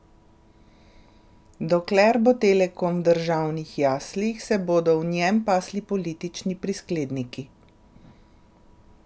Dokler bo Telekom v državnih jaslih, se bodo v njem pasli politični priskledniki.